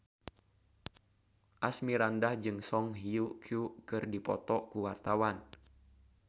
Asmirandah jeung Song Hye Kyo keur dipoto ku wartawan